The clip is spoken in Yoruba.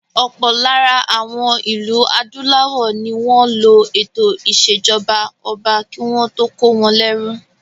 Ọ̀pọ̀ lára àwọn ìlú adúláwọ̀ ní wọ́n lo ètò ìṣèjọba ọba kí wọ́n tó kó wọn lérú.